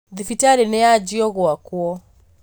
Thibitarĩ nĩyanjia gwakwo